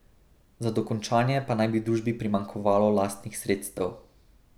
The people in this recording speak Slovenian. Za dokončanje pa naj bi družbi primanjkovalo lastnih sredstev.